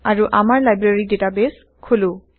আৰু আমাৰ library database খোলো